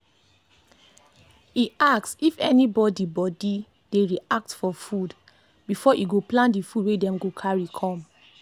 e ask if anybody body dey react for food before e go plan the food wey them go carry come